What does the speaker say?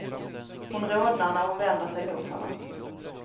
Hon rodnar när hon vänder sig mot honom.